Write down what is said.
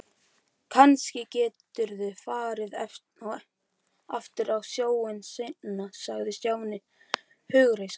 Kannski geturðu farið aftur á sjóinn seinna sagði Stjáni hughreystandi.